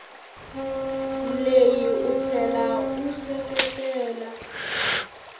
leyi u tlhela u seketela